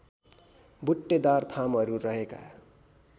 बुट्टेदार थामहरू रहेका